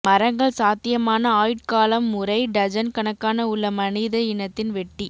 மரங்கள் சாத்தியமான ஆயுட்காலம் முறை டஜன் கணக்கான உள்ள மனித இனத்தின் வெட்டி